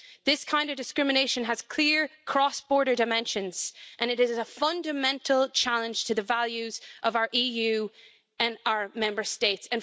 This kind of discrimination has clear cross border dimensions and it is a fundamental challenge to the values of our EU and our Member States.